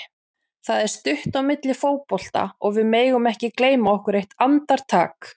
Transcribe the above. Það er stutt á milli í fótbolta og við megum ekki gleyma okkur eitt andartak.